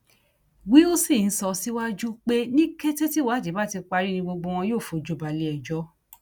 wilson sọ síwájú pé ní kété tíwádìí bá ti parí ni gbogbo wọn yóò fojú balẹẹjọ